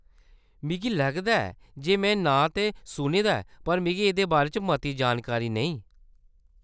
मिगी लगदा ऐ जे में नांऽ ते सुने दा ऐ, पर मिगी एह्‌‌‌दे बारे च मती जानकारी नेईं ।